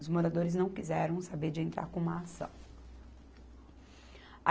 Os moradores não quiseram saber de entrar com uma ação.